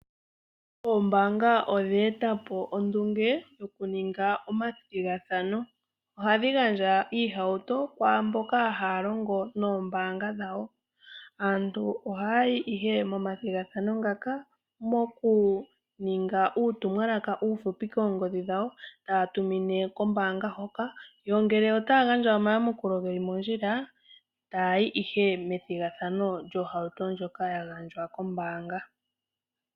Ombaanga odheetapo ondunge yo ku ninga omathigathano, oha dhigandja iihauto kwaamboka hayalongo noombaanga dhawo. Aantu oha ya yi ihe momathigathano ngaka, mokuninga uutumwalaka uufupi koongodhi dhawo, ta ya tumine kombaanga hoka, yo ngele ota ya gandja oma yamukulo ge li mondjila, ta ya yi ihe methigathano lyohauto ndjoka yagandjwa kombaanga.